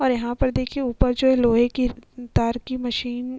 और यहाँ पर देखिए ऊपर जो है लोहे की तार की मशीन --